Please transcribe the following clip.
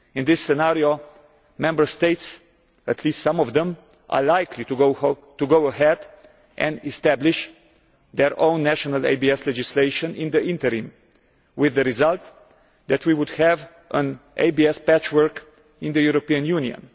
In this scenario, Member States, at least some of them, are likely to go ahead and establish their own national ABS legislation in the interim, with the result that we would have an ABS patchwork in the European Union.